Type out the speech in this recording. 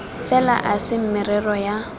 fela e se merero ya